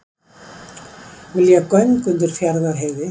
Vilja göng undir Fjarðarheiði